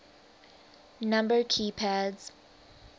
number key pads